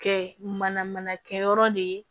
Kɛ mana mana kɛ yɔrɔ de ye